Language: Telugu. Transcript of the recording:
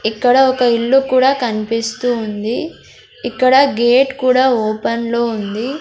ఇక్కడ ఒక ఇల్లు కూడా కన్పిస్తూ ఉంది ఇక్కడ గేట్ కూడా ఓపెన్ లో ఉంది.